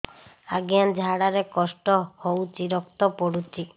ଅଜ୍ଞା ଝାଡା ରେ କଷ୍ଟ ହଉଚି ରକ୍ତ ପଡୁଛି